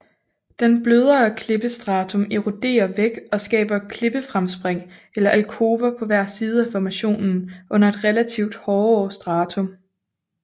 Den blødere klippestratum eroderer væk og skaber klippefremspring eller alkover på hver side af formationen under et relativt hårdere stratum